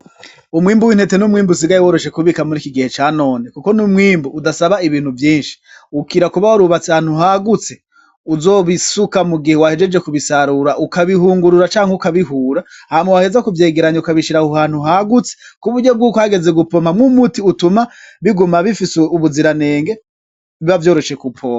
Umwimbu w'intete, n'umwimbu usigaye woroshe kubika muri iki gihe canone, kuko n'umwimbu udasaba ibintu vyinshi, ukira kuba warubatse ahantu hagutse uzobisuka mugihe wahejeje kubisarura, ukabihungurura canke ukabihura hama waheza kuvyegeranya ukabishira aho hantu hagutse kuburyo bwuko hageze gupompa umuti utuma biguma bifise ubuziranenge biba vyoroshe kuwupompa.